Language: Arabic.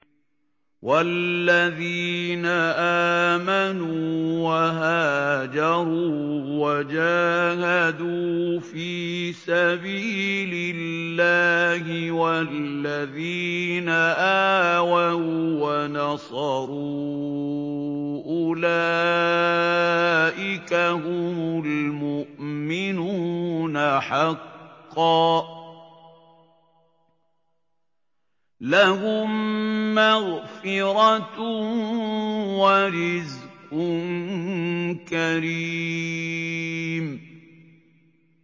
وَالَّذِينَ آمَنُوا وَهَاجَرُوا وَجَاهَدُوا فِي سَبِيلِ اللَّهِ وَالَّذِينَ آوَوا وَّنَصَرُوا أُولَٰئِكَ هُمُ الْمُؤْمِنُونَ حَقًّا ۚ لَّهُم مَّغْفِرَةٌ وَرِزْقٌ كَرِيمٌ